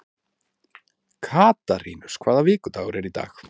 Katarínus, hvaða vikudagur er í dag?